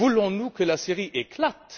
Voulons nous que la Syrie éclate?